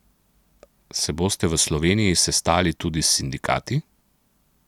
Se boste v Sloveniji sestali tudi s sindikati?